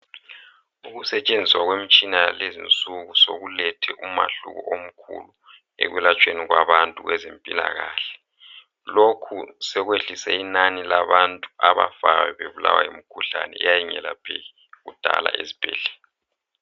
Ukusetshenziswa kwemitshina yalezinsuku sekulethe umehluko omkhulu ekulatshweni kwabantu kwezempilakahle. Lokho sekwehlise inani labantu abafayo bebulawa yimkhuhlane eyayingelapheki kudala ezibhedlela.